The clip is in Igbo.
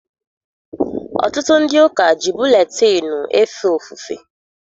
Ọtụtụ ndị ụka ji buletịịnụ efe ofufe.